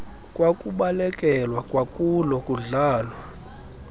kwakubalekelwa kwakulo kudlalwa